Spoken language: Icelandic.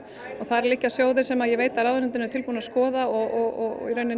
og þar liggja sjóðir sem ég veit að ráðuneytin eru tilbúin að skoða og